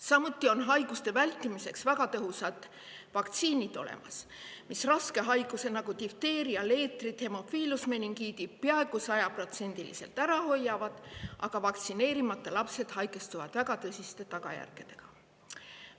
Samuti on meil olemas haiguste vältimiseks väga tõhusad vaktsiinid, mis raske haiguse, nagu difteeria, leetrid, meningiidi, peaaegu sajaprotsendiliselt ära hoiavad, aga vaktsineerimata lapsed haigestuvad väga tõsiste tagajärgedega.